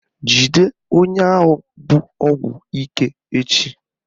Jide onye ahụ bu ọgwụ ike echi!